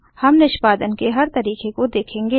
हम निष्पादन के हर तरीके को देखेंगे